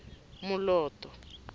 moloto